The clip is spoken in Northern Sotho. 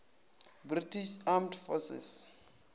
british armed forces